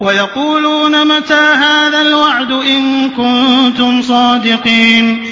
وَيَقُولُونَ مَتَىٰ هَٰذَا الْوَعْدُ إِن كُنتُمْ صَادِقِينَ